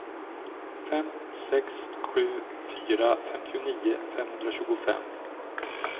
fem sex sju fyra femtionio femhundratjugofem